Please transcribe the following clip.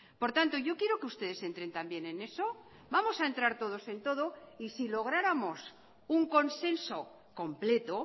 por tanto yo quiero que ustedes entren también en eso vamos a entrar todos en todo y si lográramos un consenso completo